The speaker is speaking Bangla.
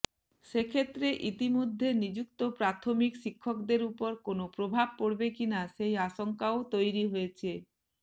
সেক্ষেত্রে ইতিমধ্যে নিযুক্ত প্রাথমিক শিক্ষকদের উপর কোনও প্রভাব পড়বে কিনা সেই আশঙ্কাও তৈরি হয়েছে